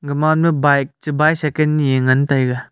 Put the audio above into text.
gaman ma bike che bicycle nyi ngan taiga.